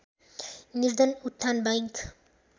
निर्धन उत्थान बैंक